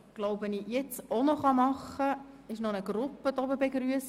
Nun begrüsse ich nochmals eine Gruppe auf der Tribüne.